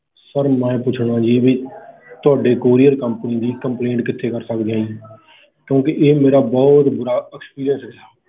sir ਮੈਂ ਪੁੱਛਣਾ ਸੀ ਬੀ ਤੁਹਾਡੇ couriercompany ਦੀ complaint ਕਿਥੇ ਕਰ ਸਕਦੇ ਆ ਜੀ ਕਿਉਕਿ ਇਹ ਮੇਰਾ ਬਹੁਤ ਬੁਰਾ experience ਰਿਹਾ